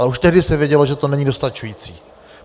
Ale už tehdy se vědělo, že to není dostačující.